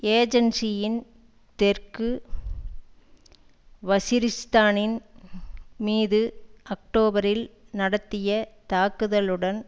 ஏஜன்சியின் தெற்கு வஸிரிஸ்தானின் மீது அக்டோபரில் நடத்திய தாக்குதலுடன்